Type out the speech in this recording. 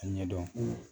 A ɲɛdɔn